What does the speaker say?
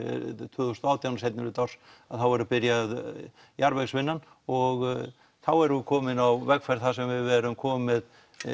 tvö þúsund og átján seinnihluta árs þá verður byrjað og þá erum við komin á vegferð þar sem við erum komin með